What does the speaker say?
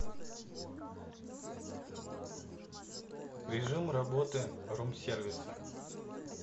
режим работы рум сервиса